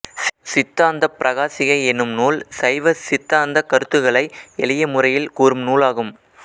சித்தாந்தப் பிரகாசிகை எனும் நூல் சைவ சித்தாந்தக் கருத்துக்களை எளிய முறையில் கூறும் நூலாகும்